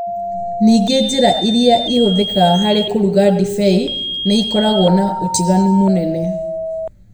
Ningĩ njĩra ĩrĩa ĩhũthĩkaga harĩ kũruga ndibei nĩ ĩkoragwo na ũtiganu mũnene.